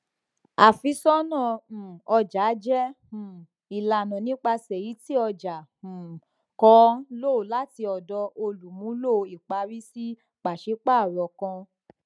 afisona um ọja jẹ um ilana nipasẹ eyiti ọja um kan lọ lati ọdọ olumulo ipari si paṣipaarọ kan